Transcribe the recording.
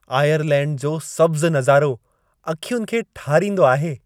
Ireland जो सब्ज़ु नज़ारो अखियुनि खे ठारींदो आहे!